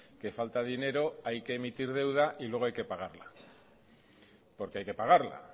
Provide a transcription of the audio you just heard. que falta dinero hay que emitir deuda y luego hay que pagarla porque hay que pagarla